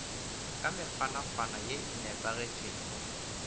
ka mekgwanakgwana ye e nepagetpego